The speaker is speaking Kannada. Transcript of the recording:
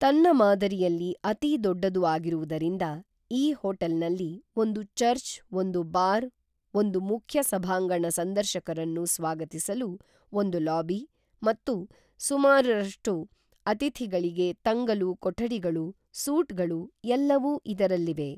ತನ್ನ ಮಾದರಿಯಲ್ಲಿ ಅತೀ ದೊಡ್ಡದು ಆಗಿರುವುದರಿಂದ ಈ ಹೋಟೆಲ್ನಲ್ಲಿ ಒಂದು ಚರ್ಚ್ ಒಂದು ಬಾರ್ ಒಂದು ಮುಖ್ಯ ಸಭಾಂಗಣ ಸಂದರ್ಶಕರನ್ನು ಸ್ವಾಗತಿಸಲು ಒಂದು ಲಾಬಿ ಮತ್ತು ಸುಮಾರು ರಷ್ಟು ಅತಿಥಿಗಳಿಗೆ ತಂಗಲು ಕೊಠಡಿಗಳು ಸೂಟ್ಗಳು ಎಲ್ಲವೂ ಇದರಲ್ಲಿವೆ